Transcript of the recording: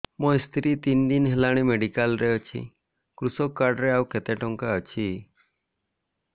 ମୋ ସ୍ତ୍ରୀ ତିନି ଦିନ ହେଲାଣି ମେଡିକାଲ ରେ ଅଛି କୃଷକ କାର୍ଡ ରେ ଆଉ କେତେ ଟଙ୍କା ଅଛି